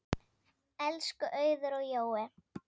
Elsku Auður og Jói.